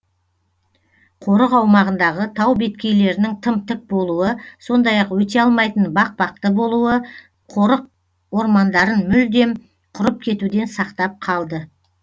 қорық аумағындағы тау беткейлерінің тым тік болуы сондай ақ өте алмайтын бақпақты болуы қорық ормандарын мүлдем құрып кетуден сақтап қалды